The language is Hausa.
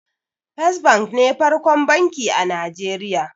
First bank ne farkon banki a Nijeriya